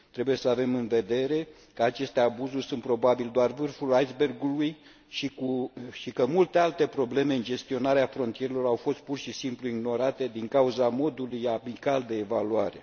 Trebuie să avem în vedere că aceste abuzuri sunt probabil doar vârful aisbergului și că multe alte probleme în gestionarea frontierelor au fost pur și simplu ignorate, din cauza modului amical de evaluare.